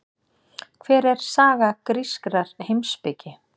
Hver er saga grískrar heimspeki?